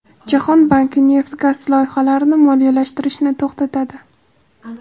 Jahon banki neft-gaz loyihalarini moliyalashtirishni to‘xtatadi.